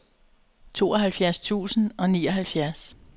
tooghalvfjerds tusind og nioghalvfjerds